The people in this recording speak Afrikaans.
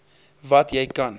wat jy kan